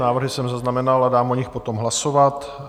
Návrhy jsem zaznamenal a dám o nich potom hlasovat.